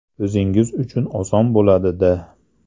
O‘zingiz uchun oson bo‘ladi-da!